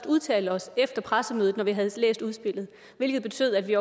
udtale os efter pressemødet når vi havde læst udspillet hvilket betød at vi